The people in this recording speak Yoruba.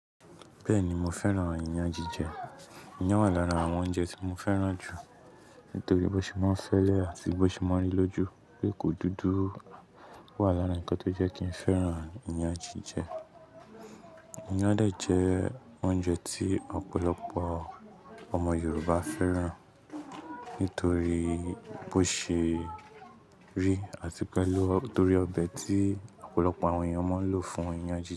Bẹ́ẹ̀ni mo fẹ́ràn iyan jije. Iyán wà lára àwọn oúnjẹ tí mo fẹ́ràn jù nítorí bó ṣe máa ń fẹ́lẹ́ àti bó ṣe máa ń rí lójú. Èkó dúdú wà lára ǹkan tó jẹ́ kí n fẹ́ràn iyan jije. Iyán dà jẹ́ oúnjẹ tí ọ̀pọ̀lọpọ̀ ọmọ Yorùbá fẹ́ràn nítorí bó ṣe rí àti pẹ̀lú torí ọbẹ̀ tí ọ̀pọ̀lọpọ̀ àwọn èèyàn máa ń lò fún iyan jije.